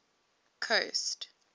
coast